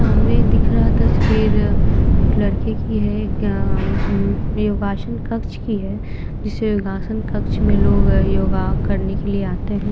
सामने दिख रहा तस्वीर एक लड़के की है एक अ अम योगासन कक्ष की है जिस योगासन कक्ष में लोग योगा करने के लिए आते हैं।